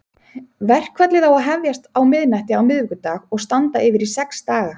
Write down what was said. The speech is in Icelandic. Verkfallið á að hefjast á miðnætti á miðvikudag og standa yfir í sex daga.